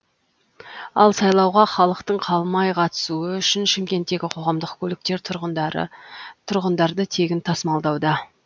ал сайлауға халықтың қалмай қатысуы үшін шымкенттегі қоғамдық көліктер тұрғындарды тегін тасымалдауда